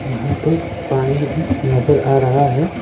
यहां पर पानी भी नजर आ रहा है।